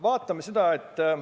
Vaatame seda!